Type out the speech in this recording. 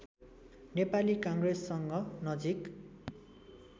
नेपाली काङ्ग्रेससँग नजिक